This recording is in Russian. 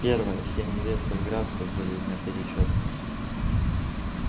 первое все невесты в графстве были наперечёт